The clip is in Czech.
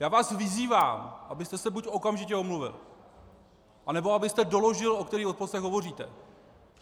Já vás vyzývám, abyste se buď okamžitě omluvil, anebo abyste doložil, o kterých odposleších hovoříte.